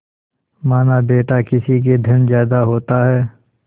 मानाबेटा किसी के धन ज्यादा होता है